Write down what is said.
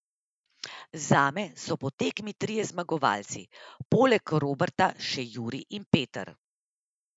Zame so po tekmi trije zmagovalci, poleg Roberta še Jurij in Peter.